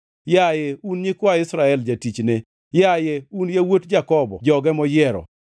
yaye, un nyikwa Israel jatichne, yaye, un yawuot Jakobo joge moyiero.